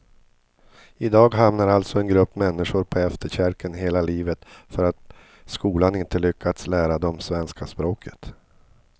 I dag hamnar alltså en grupp människor på efterkälken hela livet för att skolan inte lyckats lära dem svenska språket.